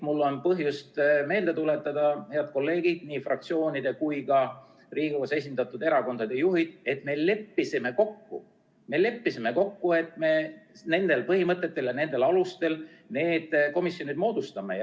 Mul on põhjust meelde tuletada, head kolleegid, nii fraktsioonide kui ka Riigikogus esindatud erakondade juhid, seda: me leppisime kokku, et me nendel põhimõtetel ja nendel alustel need komisjonid moodustame.